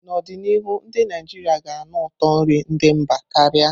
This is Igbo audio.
N'ọdịnihu, ndị Naijiria ga-anụ ụtọ nri ndị mba karia.